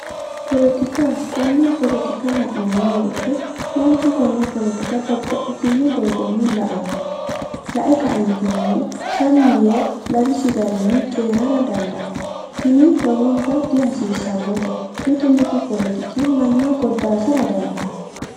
Polotika konne polotikka la'neemmo wooyiite manchu konne polotika babbaxxitinno doogonni la'anno, lae kaeentinnino sammi yee lawisi garinni cooyiirara dandaanno. tini lowonta dihasiissannote. mitu mitu polotiki manna goddaasara dandaanno.